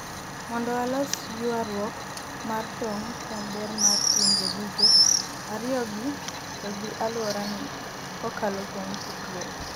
mondo walos ywaruok mar tong' kuom ber mar pinje duto ariyogi to gi alwora ni kokalo kuom tudruok